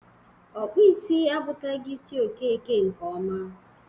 Ọkpụisi akpụtagi isi Okeke nke ọma.